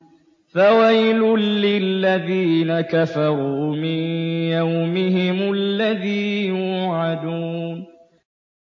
فَوَيْلٌ لِّلَّذِينَ كَفَرُوا مِن يَوْمِهِمُ الَّذِي يُوعَدُونَ